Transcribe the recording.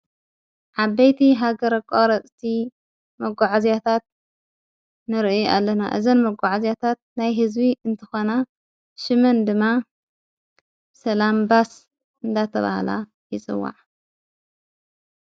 ዓበይቲ ሃገር ኣቃረፅቲ መጕዕ ዚያታት ነርኤ ኣለና እዘን መጕዐ እዚያታት ናይ ሕዝቢ እንተኾና ሽምን ድማ ሰላምባስ እንዳተብሃላ ይጽዋዕ።